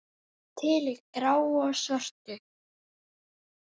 Til í gráu og svörtu.